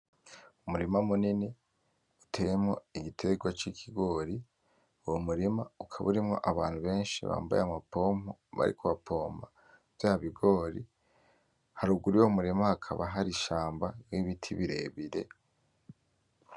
Umurima munini uteyemwo igitegwa c'ikigori. Uwo murima ukaba urimwo abantu benshi bambaye amapompo bariko bapompa vya bigori. Haruguru y'uwo murima hakaba hari ishamba n'ibiti birebire.